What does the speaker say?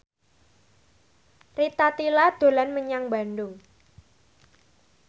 Rita Tila dolan menyang Bandung